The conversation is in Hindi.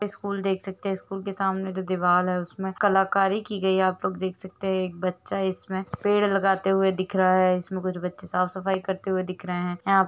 स्कूल देख सकते है स्कूल के सामने जो दिवाल है उसमे कलाकारी की गई है आप लोग देख सकते है एक बच्चा इसमे पेड़ लगाते हुए दिख रहा है इसमे कुछ बच्चे साफ़-सफाई करते हुए दिख रहे है। यहाँ--